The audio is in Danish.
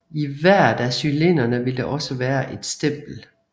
I hvert af cylinderne vil der også være et stempel